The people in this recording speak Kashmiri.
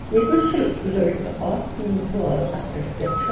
ییٚتۍ نس چُھ لٔڑکہٕ اکھ ییٚمِس بال اَتھس کٮ۪تھ چھ